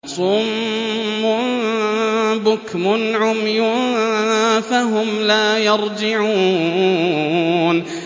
صُمٌّ بُكْمٌ عُمْيٌ فَهُمْ لَا يَرْجِعُونَ